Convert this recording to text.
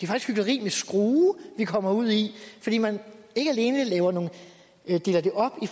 hykleri med skrue vi kommer ud i fordi man ikke alene deler det op i